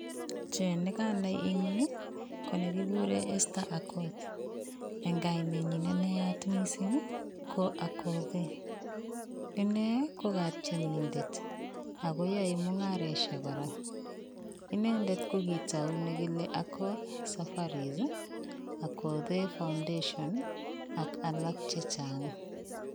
Chi neganai eng yu konegikuren Esther Akoth. Eng kainenyi ne nayatmising, ko Akothe. Inne ko katienindet ak koyoe mungaresiek kora. Inendet ko kitau negile Akoth Safaris, Akothe Foundation ak alak che chang.